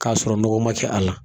K'a sɔrɔ nɔgɔ ma kɛ a la